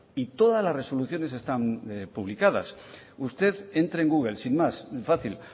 y todas las resoluciones están ya publicadas usted entre en google sin más fácil